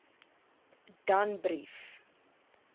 danbrief